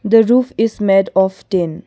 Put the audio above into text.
the roof is made of tin.